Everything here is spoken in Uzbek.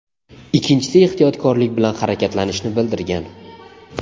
ikkinchisi ehtiyotkorlik bilan harakatlanishni bildirgan.